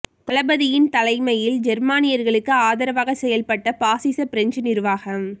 தளபதியின் தலைமையில் ஜெர்மானியர்களுக்கு ஆதரவாக செயல்பட்ட பாஸிஸ பிரெஞ்சு நிருவாகம்